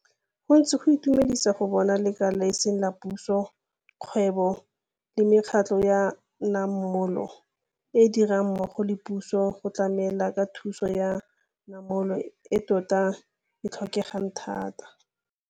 Go ntse go itumedisa go bona ba lekala le e seng la puso, kgwebo le mekgatlo ya namolo e dira mmogo le puso go tlamela ka thuso ya namolo e tota e tlhokegang thata.